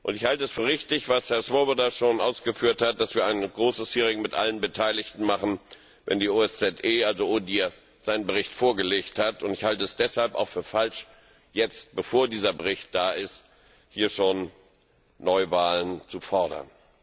Ich halte es für richtig, was Herr Swoboda schon ausgeführt hat, dass wir ein großes Hearing mit allen Beteiligten machen, wenn die OSZE, also das BDIMR, seinen Bericht vorgelegt hat, und ich halte es deshalb auch für falsch, jetzt, bevor dieser Bericht da ist, hier schon Neuwahlen zu fordern.